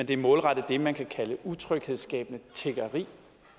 det er målrettet det man kan kalde utryghedsskabende tiggeri